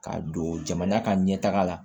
Ka don jamana ka ɲɛtaga la